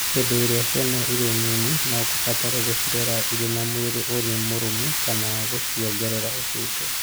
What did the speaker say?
Hĩndĩ ĩrĩa ciana irĩ nini, no kũbatare gũcirera irĩ na mwĩrĩ ũrĩ mũrũmu kana gũciongerera ũcuke.